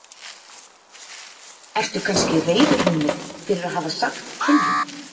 Ertu kannski reiður við mig fyrir að hafa sagt til þín?